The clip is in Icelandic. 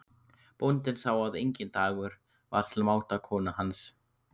Bóndinn sá að enginn dagur var til máta konu hans.